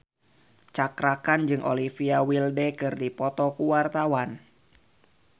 Cakra Khan jeung Olivia Wilde keur dipoto ku wartawan